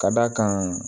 Ka d'a kan